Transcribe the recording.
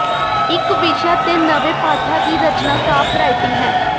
ਇਕ ਵਿਸ਼ਾ ਤੇ ਨਵੇਂ ਪਾਠਾਂ ਦੀ ਰਚਨਾ ਕਾਪਰਾਈਟਿੰਗ ਹੈ